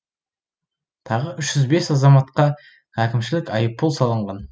тағы үш жүз бес азаматқа әкімшілік айыппұл салынған